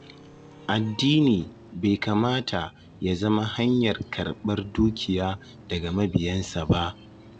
Addini bai kamata ya zama hanyar ƙarɓar dukiya daga mabiyansa ba.